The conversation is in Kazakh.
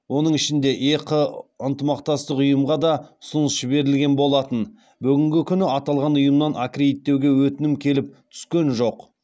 оның ішінде еқы ынтымақтастық ұйымға да ұсыныс жіберілген болатын бүгінгі күні аталған ұйымнан аккредиттеуге өтінім келіп түскен жоқ